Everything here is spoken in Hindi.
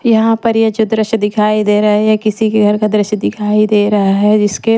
यहां पर ये जो दृश्य दिखाई दे रहा है ये किसी के घर का दृश्य दिखाई दे रहा है जिसके--